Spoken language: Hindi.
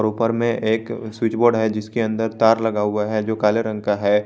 ऊपर में एक स्विच बोर्ड है जिसके अंदर तार लगा हुआ है जो काले रंग का है।